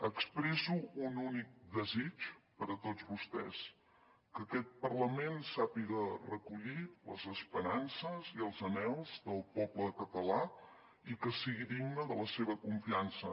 expresso un únic desig per a tots vostès que aquest parlament sàpiga recollir les esperances i els anhels del poble català i que sigui digne de la seva confiança